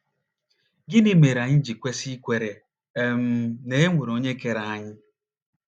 Gịnị mere anyị ji kwesị ikwere um na e nwere onye kere anyị?